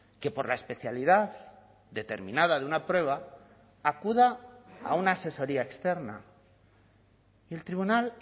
que por la especialidad determinada de una prueba acuda a una asesoría externa y el tribunal